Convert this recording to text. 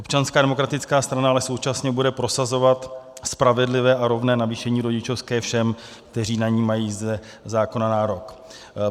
Občanská demokratická strana ale současně bude prosazovat spravedlivé a rovné navýšení rodičovské všem, kteří na ni mají ze zákona nárok.